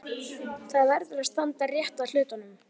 Það verður að standa rétt að hlutunum.